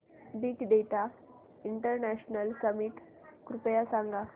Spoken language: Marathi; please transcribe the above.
बिग डेटा इंटरनॅशनल समिट कृपया सांगा